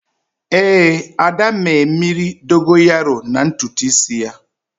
Éè, Ada mee mmiri Dogonyaro na ntutu isi ya